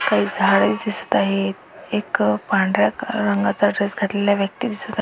काही झाडे दिसत आहेत एक पांढऱ्या रंगाचा ड्रेस घातलेला व्यक्ति दिसत आहे.